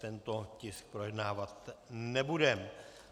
Tento tisk projednávat nebudeme.